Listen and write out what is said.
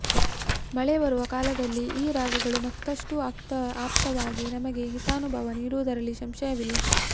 ಮಳೆ ಬರುವ ಕಾಲದಲ್ಲಿ ಈ ರಾಗಗಳು ಮತ್ತಷ್ಟು ಆಪ್ತವಾಗಿ ನಮಗೆ ಹಿತಾನುಭವ ನೀಡುವುದರಲ್ಲಿ ಸಂಶಯವಿಲ್ಲ